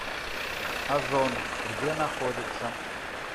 озон где находится